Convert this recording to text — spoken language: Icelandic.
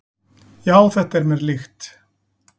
"""Já, þetta er mér líkt."""